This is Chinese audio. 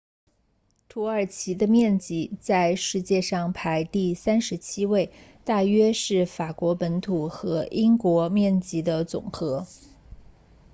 土耳其的面积在世界上排第37位大约是法国本土和英国面积的总和